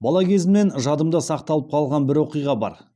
бала кезімнен жадымда сақталып қалған бір оқиға бар